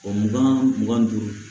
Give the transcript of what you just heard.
mugan mugan ni duuru